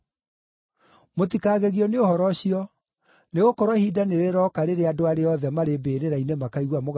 “Mũtikagegio nĩ ũhoro ũcio, nĩgũkorwo ihinda nĩrĩroka rĩrĩa andũ arĩa othe marĩ mbĩrĩra-inĩ makaigua mũgambo wake